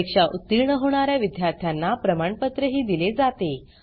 परीक्षा उतीर्ण होणा या विद्यार्थ्यांना प्रमाणपत्रही दिले जाते